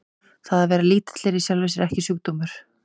Það að vera lítill er í sjálfu sér ekki sjúkdómur.